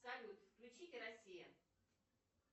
салют включите россия